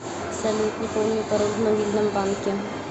салют не помню пароль в мобильном банке